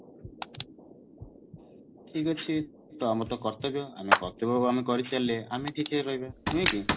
ଠିକ ଅଛି ତ ଆମର ତ କର୍ତବ୍ୟ ଆମେ କର୍ତବ୍ୟ ପାଳନ କରି ଚାଲିଲେ ଆମେ ଠିକ ହେଇ ରହିବା ନୁହେଁ କି